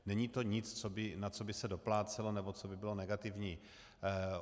Není to nic, na co by se doplácelo nebo co by bylo negativní.